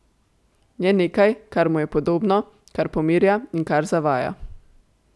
Je nekaj, kar mu je podobno, kar pomirja in kar zavaja.